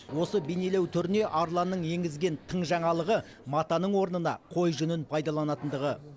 осы бейнелеу түріне арланның енгізген тың жаңалығы матаның орнына қой жүнін пайдаланатындығы